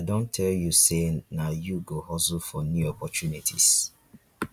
i don tell you sey na you go hustle for new opportunities